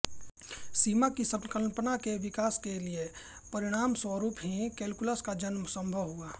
सीमा की संकल्पना के विकास के परिणामस्वरूप ही कैलकुलस का जन्म सम्भव हुआ